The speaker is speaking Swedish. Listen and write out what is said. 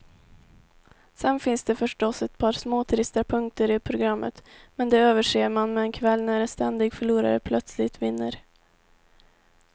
Sen finns det förstås ett par småtrista punkter i programmet, men de överser man med en kväll när en ständig förlorare plötsligt vinner.